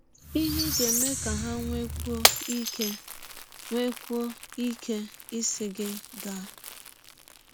Ihe Ị Ga - eme Ka Ha Nwekwụọ Ike Nwekwụọ Ike Ịsị Gị Gaa